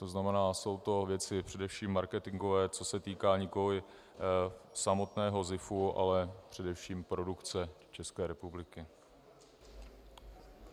To znamená, jsou to věci především marketingové, co se týká nikoliv samotného ZIFu, ale především produkce České republiky.